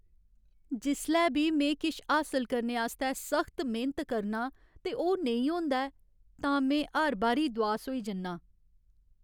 जिसलै बी में किश हासल करने आस्तै सख्त मेह्नत करनां ते ओह् नेईं होंदा ऐ तां में हर बारी दुआस होई जन्ना आं।